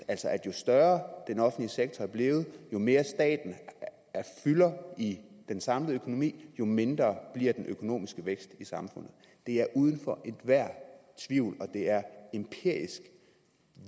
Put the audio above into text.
jo større den offentlige sektor er blevet jo mere staten fylder i den samlede økonomi jo mindre bliver den økonomiske vækst i samfundet det er uden for enhver tvivl og det er